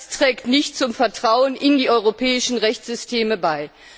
Das trägt nicht zum Vertrauen in die europäischen Rechtssysteme bei.